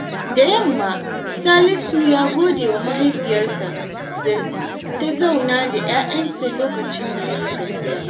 Da yamma, Salisu ya gode wa mahaifiyarsa da ta zauna da 'ya'yansa lokacin da ya yi tafiya.